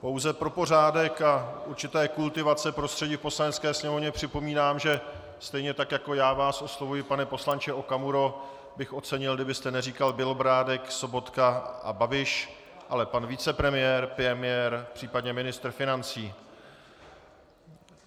Pouze pro pořádek a určitou kultivaci prostředí v Poslanecké sněmovně připomínám, že stejně tak jako já vás oslovuji pane poslanče Okamuro, bych ocenil, kdybyste neříkal Bělobrádek, Sobotka a Babiš, ale pan vicepremiér, premiér případně ministr financí.